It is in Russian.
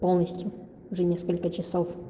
полностью уже несколько часов